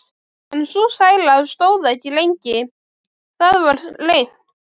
En sú sæla stóð ekki lengi: Það varð reimt.